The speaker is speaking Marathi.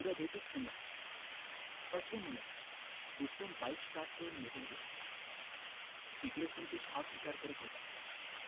उद्या भेटुच पुन्हा असं म्हणत रुस्तम bike start करून निघुन गेला इकडं संतोष हाच विचार करत होता